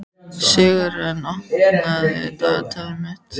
Sigurörn, opnaðu dagatalið mitt.